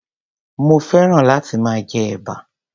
mo féràn láti máa jẹ ẹ̀bà.